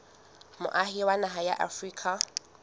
moahi wa naha ya afrika